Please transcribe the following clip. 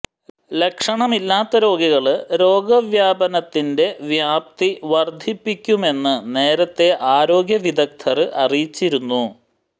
ലക്ഷണമില്ലാത്ത രോഗികള് രോഗവ്യാപനത്തിന്റെ വ്യാപ്തി വര്ധിപ്പിക്കുമെന്ന് നേരത്തേ ആരോഗ്യ വിദഗ്ധര് അറിയിച്ചിരുന്നു